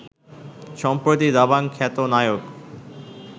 সম্প্রতি দাবাং খ্যাত নায়ক